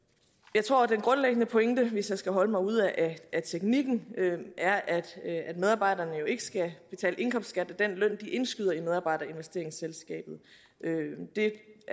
jeg tror at den grundlæggende pointe hvis jeg skal holde mig ude af af teknikken er at medarbejderne jo ikke skal betale indkomstskat af den løn de indskyder i medarbejderinvesteringsselskabet det